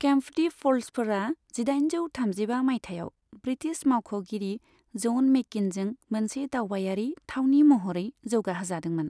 केम्पटी फ'ल्सफोरा जिदाइनजौ थामजिबा माइथायाव ब्रिटिश मावख'गिरि जन मेकिननजों मोनसे दावबायारि थावनि महरै जौगाहोजादोंमोन।